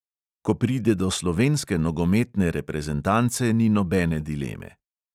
Ko pride do slovenske nogometne reprezentance, ni nobene dileme.